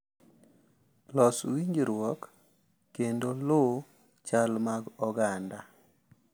Los winjruok, kendo luwo chal mag oganda